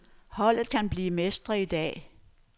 Holdet kan blive mestre i dag.